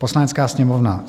"Poslanecká sněmovna